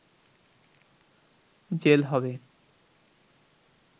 jail হবে